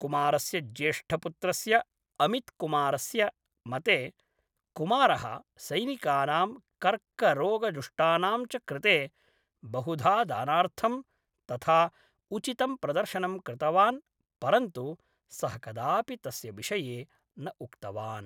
कुमारस्य ज्येष्ठपुत्रस्य अमित्कुमारस्य मते, कुमारः सैनिकानां कर्करोगजुष्टाणां च कृते बहुधा दानार्थं तथा उचितं प्रदर्शनं कृतवान् परन्तु सः कदापि तस्य विषये न उक्तवान्।